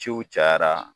Ciw cayara